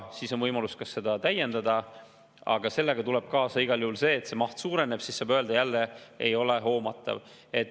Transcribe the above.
On võimalus neid ka täiendada, aga sellega tuleb igal juhul kaasa see, et maht suureneb, ja siis saab jälle öelda: ei ole hoomatav.